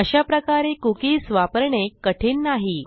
अशाप्रकारे कुकीज वापरणे कठीण नाही